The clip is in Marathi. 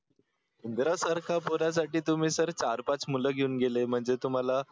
उंदरासारखा पोरासाठी तुम्ही सर चार-पाच मुलं घेऊन गेले म्हणजे तुम्हाला